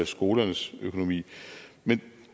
skolernes økonomi men